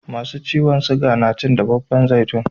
Masu ciwon siga na cin dafaffan zaitun